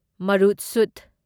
ꯃꯔꯨꯠꯁꯨꯙ